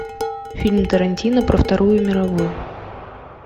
фильм тарантино про вторую мировую